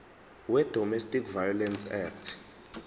wedomestic violence act